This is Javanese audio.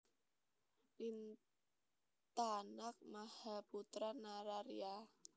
Lintanag Mahaputra Nararya